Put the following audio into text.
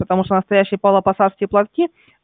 потому что настоящие павлопосадские платки